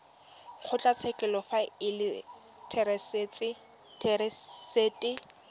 kgotlatshekelo fa e le therasete